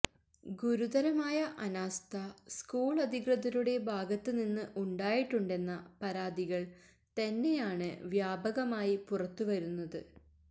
ഗുരുതരമായ അനാസ്ഥ സ്കൂളധികൃതരുടെ ഭാഗത്ത് നിന്ന് ഉണ്ടായിട്ടുണ്ടെന്ന പരാതികൾ തന്നെയാണ് വ്യാപകമായി പുറത്ത് വരുന്നത്